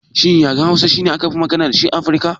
Shin yaren Hausa shine wanda akafi magana dashi a Afirka?